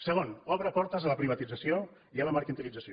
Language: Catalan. segon obre portes a la privatització i a la mercantilització